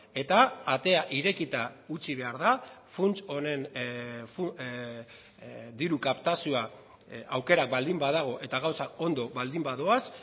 eta atea irekita utzi behar da funts honen diru kaptazioa aukerak baldin badago eta gauzak ondo baldin badoaz